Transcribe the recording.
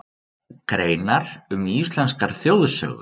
Greinar um íslenskar þjóðsögur.